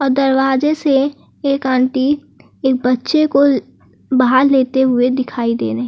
दरवाजे से एक आंटी एक बच्चे को बाहर लेते हुए दिखाई दे रही है।